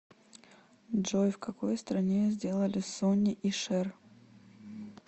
джой в какой стране сделали сонни и шэр